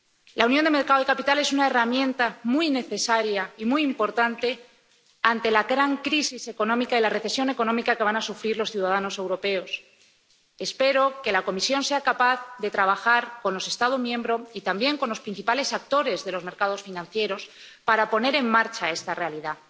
La unión de los mercados de capitales es una herramienta muy necesaria y muy importante ante la gran crisis económica y la recesión económica que van a sufrir los ciudadanos europeos. Espero que la Comisión sea capaz de trabajar con los Estados miembros y también con los principales actores de los mercados financieros para poner en marcha esta realidad.